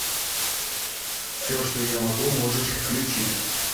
все что я могу можешь включить